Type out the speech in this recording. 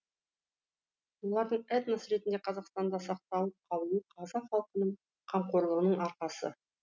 олардың этнос ретінде қазақстанда сақталып қалуы қазақ халқының қамқорлығының арқасы